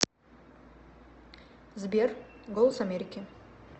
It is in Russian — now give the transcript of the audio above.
сбер голос америки